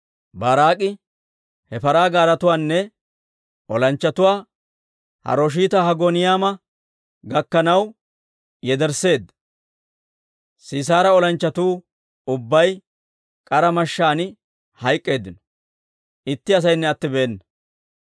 Baaraak'i he paraa gaaretuwaanne olanchchatuwaa Harosheeta-Hagooyiima gakkanaw yedersseedda. Sisaara olanchchatuu ubbay k'ara mashshaan hayk'k'eeddino; itti asaynne attibeena.